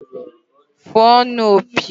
Fụọnụ opi!